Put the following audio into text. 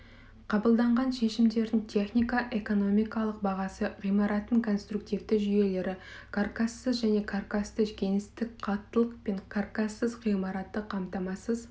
қабылданған шешімдердің технико-экономикалық бағасы ғимараттардың конструктивті жүйелері каркассыз және каркасты кеңістік қаттылық пен каркассыз ғимаратты қамтамасыз